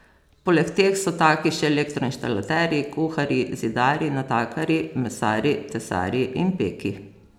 Poleg teh so taki še elektroinštalaterji, kuharji, zidarji, natakarji, mesarji, tesarji in peki.